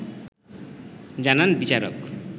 জানান বিচারক